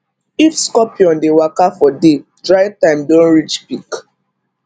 if scorpion dey waka for day dry time don reach peak